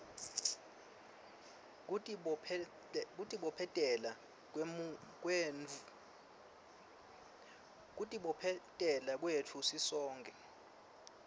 kutibophetela kwetfu sisonkhe